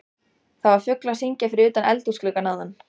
Það var fugl að syngja fyrir utan eldhúsgluggann áðan.